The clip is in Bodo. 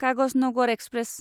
कागजनगर एक्सप्रेस